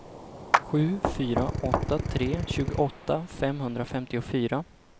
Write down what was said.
sju fyra åtta tre tjugoåtta femhundrafemtiofyra